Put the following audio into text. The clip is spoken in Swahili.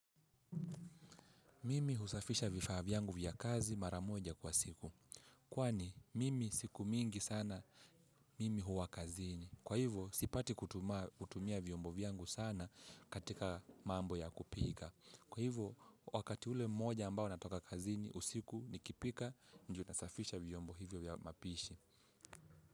Mimi husafisha vifaa vyangu vya kazi maramoja kwa siku. Kwani, mimi siku mingi sana, mimi huwa kazini. Kwa hivyo, sipati kutumia vyombo vyangu sana katika mambo ya kupika. Kwa hivyo, wakati ule mmoja ambao natoka kazini usiku nikipika, ndio nasafisha vyombo hivyo vya mapishi.